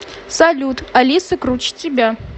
салют алиса круче тебя